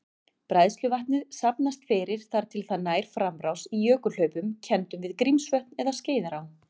Bræðsluvatnið safnast fyrir þar til það nær framrás í jökulhlaupum kenndum við Grímsvötn eða Skeiðará.